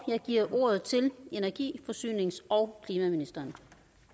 jeg giver ordet til energi forsynings og klimaministeren